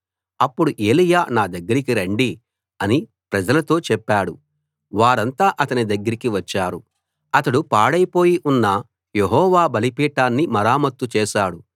అప్పుడు ఏలీయా నా దగ్గరికి రండి అని ప్రజలతో చెప్పాడు వారంతా అతని దగ్గరికి వచ్చారు అతడు పాడైపోయి ఉన్న యెహోవా బలిపీఠాన్ని మరమ్మతు చేశాడు